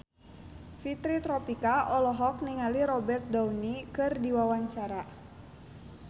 Fitri Tropika olohok ningali Robert Downey keur diwawancara